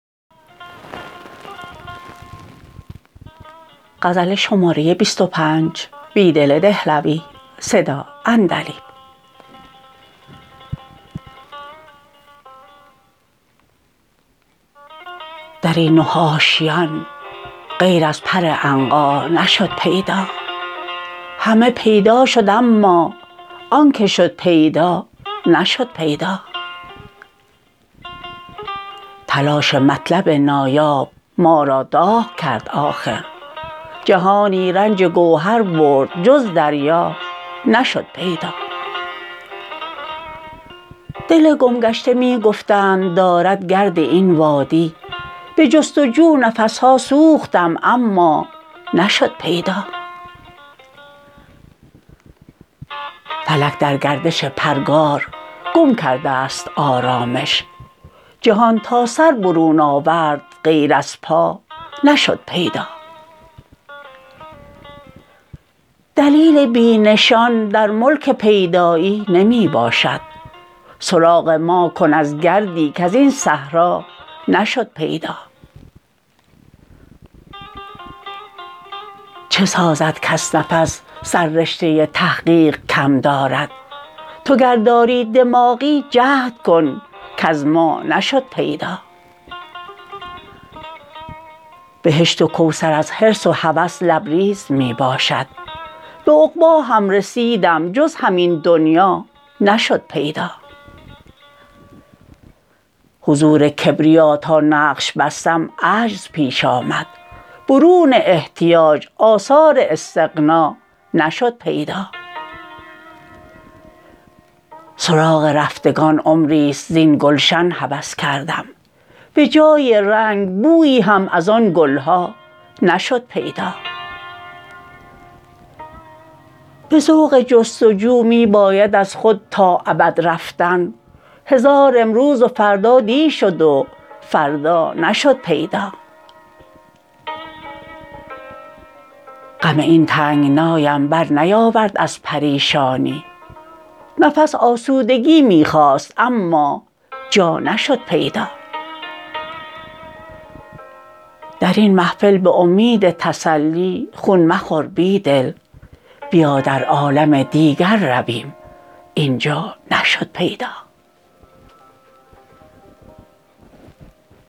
درین نه آشیان غیر از پر عنقا نشد پیدا همه پیدا شد اما آن که شد پیدا نشد پیدا تلاش مطلب نایاب ما را داغ کرد آخر جهانی رنج گوهر برد جز دریا نشد پیدا دل گمگشته می گفتند دارد گرد این وادی به جست وجو نفسها سوختم اما نشد پیدا فلک درگردش پرگار گم کرده ست آرامش جهان تا سر برون آورد غیر از پا نشد پیدا دلیل بی نشان در ملک پیدایی نمی باشد سراغ ما کن از گردی کزین صحرا نشد پیدا چه سازد کس نفس سررشته تحقیق کم دارد تو گر داری دماغی جهد کن کز ما نشد پیدا بهشت و کوثر از حرص و هوس لبریز می باشد به عقبا هم رسیدم جز همین دنیا نشد پیدا حضور کبریا تا نقش بستم عجز پیش آمد برون احتیاج آثار استغنا نشد پیدا سراغ رفتگان عمریست زین گلشن هوس کردم به جای رنگ بویی هم از آن گلها نشد پیدا به ذوق جستجو می باید از خود تا ابد رفتن هزار امروز و فردا دی شد و فردا نشد پیدا غم این تنگنایم برنیاورد از پریشانی نفس آسودگی می خواست اما جا نشد پیدا درین محفل به امید تسلی خون مخور بیدل بیا در عالم دیگر رویم اینجا نشد پیدا